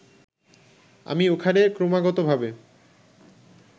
আমি ওখানে ক্রমাগতভাবে